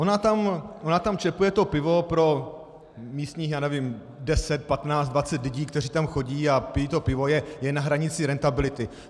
Ona tam čepuje to pivo pro místních, já nevím, deset, patnáct, dvacet lidí, kteří tam chodí a pijí to pivo, je na hranici rentability.